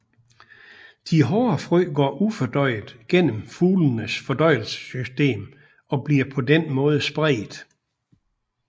De hårde frø går ufordøjet gennem fuglenes fordøjelsessystem og bliver på denne måden spredt